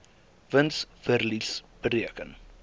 wins verlies bereken